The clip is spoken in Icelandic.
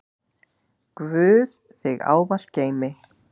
Guð þig ávallt geymi.